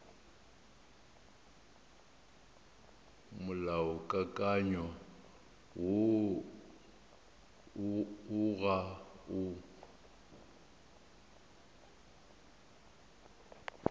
molaokakanywa woo o ga o